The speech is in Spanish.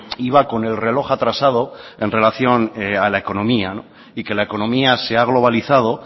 iba con el reloj atrasado en relación a la economía y que la economía se ha globalizado